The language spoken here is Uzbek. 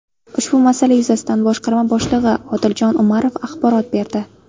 Ushbu masala yuzasidan boshqarma boshlig‘i Odiljon Umarov axborot berdi.